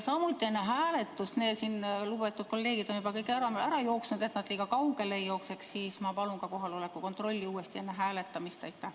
Ja enne hääletust, lugupeetud kolleegid on juba ära jooksnud, siis et nad liiga kaugele ei jookseks, palun ma ka kohaloleku kontrolli uuesti läbi viia.